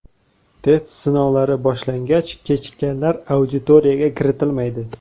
Test sinovlari boshlangach, kechikkanlar auditoriyaga kiritilmaydi.